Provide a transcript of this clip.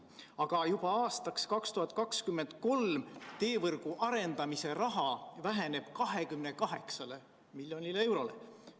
Aga juba aastaks 2023 väheneb teevõrgu arendamise raha 28 miljoni euroni.